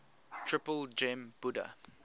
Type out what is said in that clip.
triple gem buddha